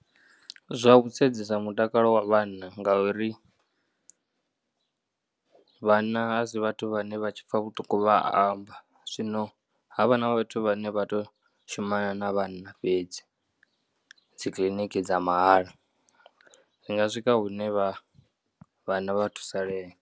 Zwa u sedzesa mutakalo wa vhanna ngauri vhanna a si vhathu vhane vha tshi pfha vhuṱungu vha amba, zwino ha vha na vhathu vhane vha tou shumana na vhanna fhedzi dzikiḽiniki dza mahala zwi nga swika hune vha vhanna thusalea.